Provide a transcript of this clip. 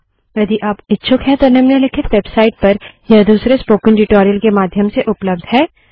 यदि आप इच्छुक हैं तो निम्नलिखित वेबसाइट पर यह दूसरे स्पोकन ट्यूटोरियल के माध्यम से उपलब्ध है